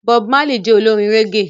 Bob Marley jé Olorin reggae